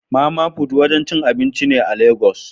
Mama put wurin cin abinci ne a legas.